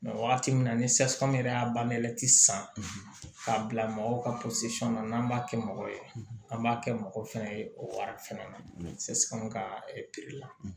wagati min na ni sasi yɛrɛ y'a banti san k'a bila mɔgɔw ka na n'an b'a kɛ mɔgɔ ye an b'a kɛ mɔgɔ fɛn ye o wari fana na sa anw ka la